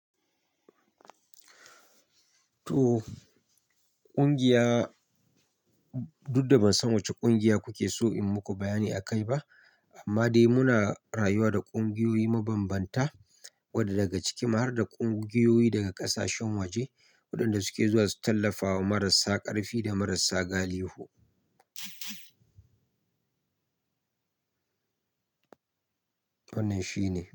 To, ƙungiya dudda ban san wacce ƙungiya kuke so in muku bayani a kai ba, amma dai muna rayuwa da ƙungiyoyi mabanbanta wadda daga ciki ma har da ƙungiyoyi daga ƙasashen waje waɗanda suke zuwa su tallafawa marasa ƙarfi da marasa galihu. Wannan shi ne.